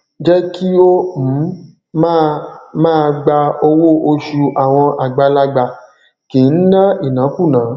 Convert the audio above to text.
jẹ ki o um máa máa gbà owó oṣù àwọn àgbàlagbà kìí ń ná ìnákúùná